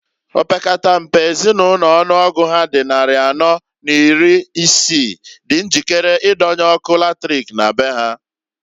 Opekata mpe Ezinulo ọnụọgụ ha dị nnarị anọọ n'iri isii di njikere idonye ọkụ latrik na be ha.